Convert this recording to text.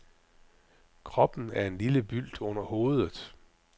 Kroppen er en lille bylt under hovedet.